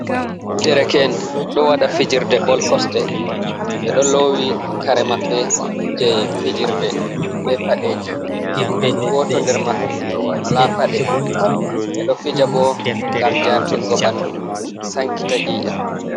Ɗerke en do wada fijirde ball kosɗe. Ɓe ɗo lowi kare maɓɓe je fijirde, ɓe paɗeji. Woto nder maɓɓe wala paɗe. Ɓe do fija bo gam jartingo ɓandu sankita Ei'am.